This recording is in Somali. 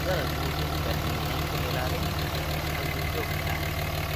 Dalaggu wuxuu u baahan yahay ka ilaalin xayawaanka duurjoogta ah.